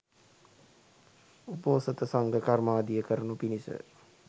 උපෝසථ සංඝ කර්මාදිය කරනු පිණිස